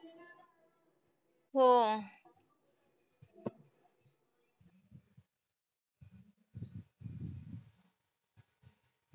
हो.